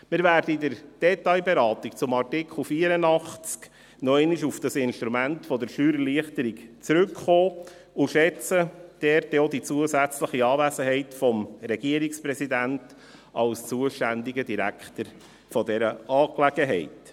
Wir werden in der Detailberatung zum Artikel 84 noch einmal auf dieses Instrument der Steuererleichterung zurückkommen und schätzen dabei auch die zusätzliche Anwesenheit des Regierungspräsidenten als zuständigen Direktor in dieser Angelegenheit.